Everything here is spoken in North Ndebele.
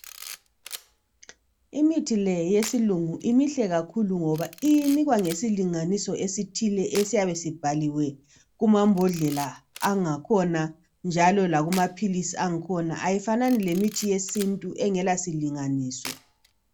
Imithi leyi yesilungu mihle kakhulu ngoba inikwa ngesilinganiso esithile esiyabe sibhaliwe kuma mbodlela akhona njalo lakuma philisi akhona ,ayifanani lemithi yesintu engela silinganiso.